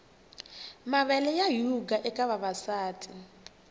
mavele ya yhuga eka vavasati